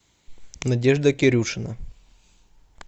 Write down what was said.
надежда кирюшина